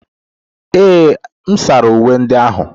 Ee, m sara uwe ndị ahụ.